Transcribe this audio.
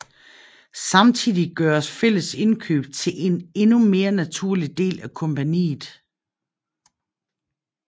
Samtidig gøres fælles indkøb til en endnu mere naturlig del af compagniet